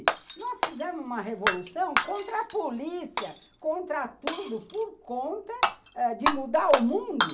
Nós fizemos uma revolução contra a polícia, contra tudo, por conta de mudar o mundo.